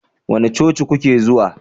Wani coci kuke zuwa?